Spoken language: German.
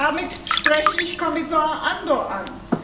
Damit spreche ich Kommissar Andor an.